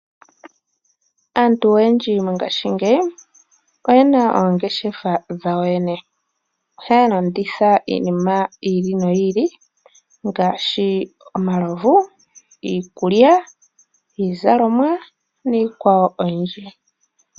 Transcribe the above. Aantu oyendji mongashingeyi oye na oongeshefa dhawo yo yene. Ohaya landitha iinima yi ili noyi ili ngaashi omalovu, iikulya, iizalomwa niikwawo oyindji.